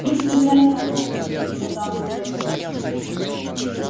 истинная правда заверил её дамблдор